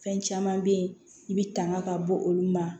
Fɛn caman bɛ yen i bɛ tanga ka bɔ olu ma